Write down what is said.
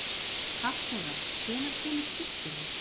Hafþóra, hvenær kemur tvisturinn?